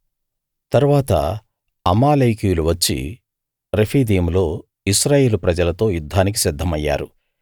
తరువాత అమాలేకీయులు వచ్చి రెఫీదీములో ఇశ్రాయేలు ప్రజలతో యుద్ధానికి సిద్ధమయ్యారు